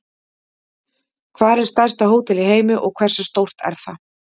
Hvar er stærsta hótel í heimi og hversu stórt er það?